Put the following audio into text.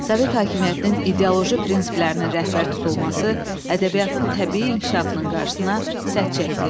Sovet hakimiyyətinin ideoloji prinsiplərinin rəhbər tutulması ədəbiyyatın təbii inkişafının qarşısına sədd çəkdi.